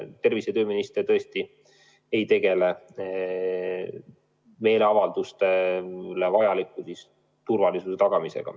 Tervise- ja tööminister tõesti ei tegele meeleavaldustel vajaliku turvalisuse tagamisega.